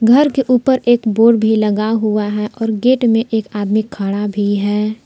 घर के ऊपर एक बोर्ड भी लगा हुआ है और गेट में एक आदमी खड़ा भी है।